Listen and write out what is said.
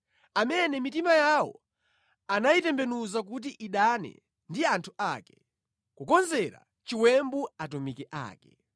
amene mitima yawo anayitembenuza kuti idane ndi anthu ake, kukonzera chiwembu atumiki ake.